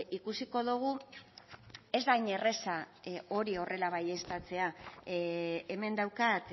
ikusiko dugu ez da hain erraza hori horrela baieztatzea hemen daukat